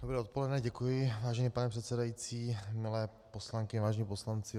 Dobré odpoledne, děkuji, vážený pane předsedající, milé poslankyně, vážení poslanci.